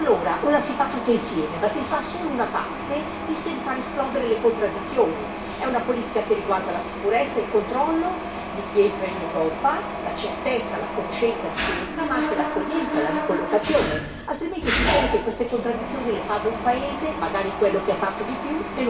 E allora, o la si fa tutti insieme, ma se si fa solo una parte, rischia di far esplodere le contraddizioni, è una politica che riguarda la sicurezza, il controllo di chi entra in Europa, la certezza, la conoscenza di chi entra, ma anche l'accoglienza, la ricollocazione, altrimenti succede che queste contraddizioni le paga un paese, magari quello che ha fatto di